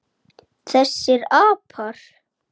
Þessir apar!